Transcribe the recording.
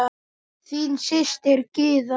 Þín systir, Gyða.